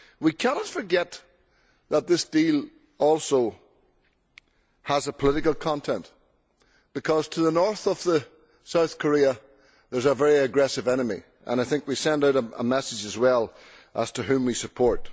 We cannot forget that this deal also has a political content, because to the north of South Korea there is a very aggressive enemy, and I think we send out a message as well as to whom we support.